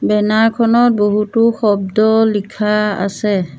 Banner খনত বহুতো শব্দ লিখা আছে।